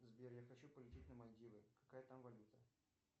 сбер я хочу полететь на мальдивы какая там валюта